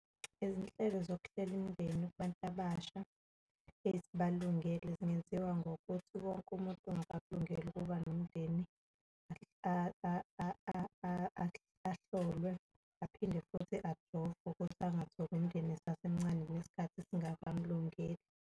Izinhlelo zokuhlela imindeni kubantu abasha ezibalungele zingenziwa ngokuthi wonke umuntu ongakakulungeli ukuba nomndeni ahlolwe, aphinde futhi ajovwe ukuthi angatholi umndeni esasemncane nesikhathi singakamlungeli.